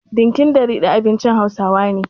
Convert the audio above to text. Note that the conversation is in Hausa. Dinkin da ridi abincin Hausawa ne.